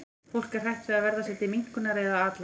Fólk er hrætt við að verða sér til minnkunar eða að athlægi.